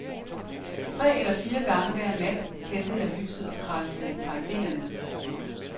Tre eller fire gange hver nat tændte jeg lyset og kradsede et par idéer ned.